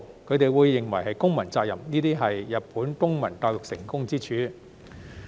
他們認為這是公民責任，這是日本公民教育成功之處。